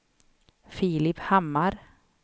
Filip Hammar